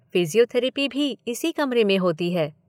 Physiotherapy भी इसी कमरे में होती है।